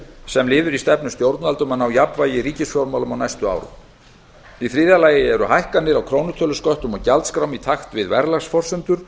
sem liður í stefnu stjórnvalda um að ná jafnvægi í ríkisfjármálum á næstu árum í þriðja lagi eru hækkanir á krónutölusköttum og gjaldskrám í takt við verðlagsforsendur